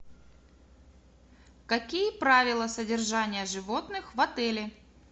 какие правила содержания животных в отеле